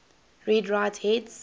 read write heads